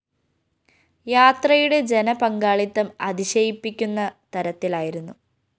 യാത്രയുടെ ജനപങ്കാളിത്തം അതിശയിപ്പിക്കുന്ന തരത്തിലായിരുന്നു